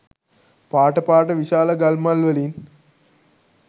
පාට පාට විශාල ගල් මල් වලින්.